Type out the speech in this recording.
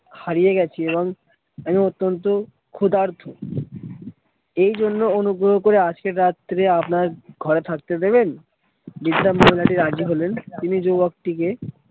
হারিয়ে গেছি এবং আমি অত্যন্ত ক্ষুদার্থ এই জন্য অনুগ্রহ করে আজকের রাত্রিরে আপনার ঘরে থাকতে দেবেন? বৃদ্ধা মহিলাটি রাজি হলেন তিনি যুবকটিকে